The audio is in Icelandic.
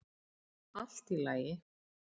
Allt í lagi.